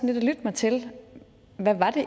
lytte mig til hvad det